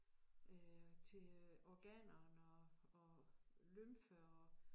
Øh til øh organerne og og lymfe og